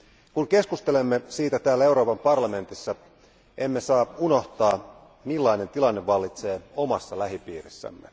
Kun keskustelemme siitä täällä Euroopan parlamentissa, emme saa unohtaa, millainen tilanne vallitsee omassa lähipiirissämme.